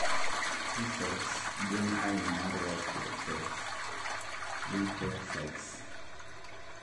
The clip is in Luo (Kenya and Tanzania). T cells gin aina mar white blood cells (lymphocytes)